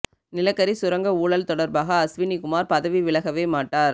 நிலக்கரி சுரங்க ஊழல் தொடர்பாக அஸ்வினி குமார் பதவி விலகவே மாட்டார்